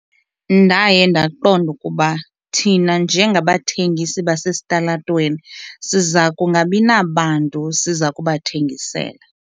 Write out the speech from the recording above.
Ndaye ndaqonda ukuba thina njengabathengisi basesitalatweni siza kungabi nabantu siza kubathengisela.